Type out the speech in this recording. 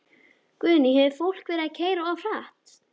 Guðný: Hefur fólk verið að keyra of hratt?